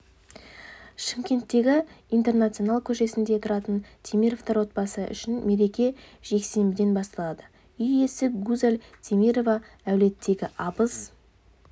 шымкенттегі интернационал көшесінде тұратын темировтер отбасы үшін мереке жексенбіден басталды үй иесі гузаль темирова әулеттегі абыз